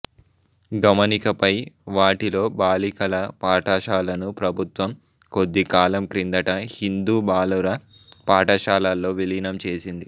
గమనికపై వాటిలో బాలికల పాఠశాలను ప్రభుత్వం కొద్దికాలం క్రిందట హిందూ బాలుర పాఠశాలలో విలీనం చేసింది